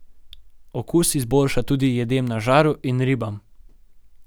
Okus izboljša tudi jedem na žaru in ribam.